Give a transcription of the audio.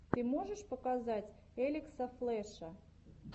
ты можешь показать элекса флэша